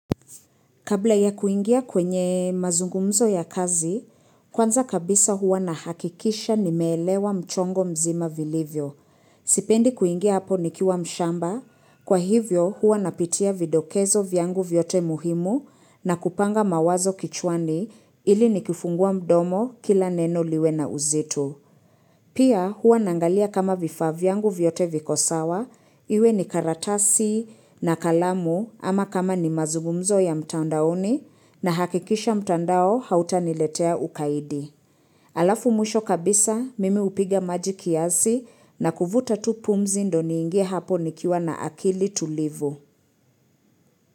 Kabla ya kuingia kwenye mazungumzo ya kazi, kwanza kabisa huwa na hakikisha nimelewa mchongo mzima vilivyo. Sipendi kuingia hapo ni kiwa mshamba, kwa hivyo huwa napitia vidokezo vyangu vyote muhimu na kupanga mawazo kichwani ili ni kifungua mdomo kila neno liwe na uzitu. Pia huwa nangalia kama vifavyangu vyote vikosawa, iwe ni karatasi na kalamu ama kama ni mazugumzo ya mtaandaoni na hakikisha mtandao hauta niletea ukaidi. Alafu mwisho kabisa mimi upiga maji kiasi na kuvuta tu pumzi ndo ni ingie hapo nikiwa na akili tulivu.